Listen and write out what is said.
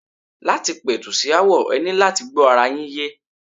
Láti pẹ̀tù sí aáwọ̀, e ní láti gbọ́ ara yín yé.